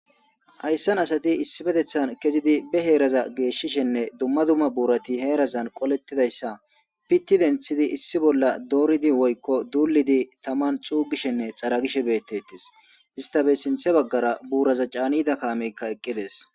hayssan asati issipetethan kezidi be heeraza geeshshishenne dumma dumma buurati heerazan qolettidayssa pitti denthidi issi bolla dooridi woykko duulidi taman cuugishenne xaragishe beettettis istabe sinthe baggara buuraza caanida kaamekka eqqides